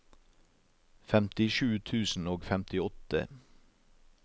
femtisju tusen og femtiåtte